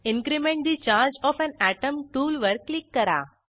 increment the charge of an atom टूलवर click करा